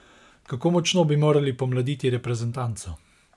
Kako močno bi morali pomladiti reprezentanco?